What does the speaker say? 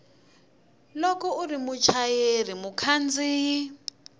loko u ri muchayeri mukhandziyi